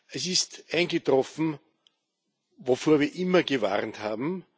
Es ist eingetroffen, wovor wir immer gewarnt haben.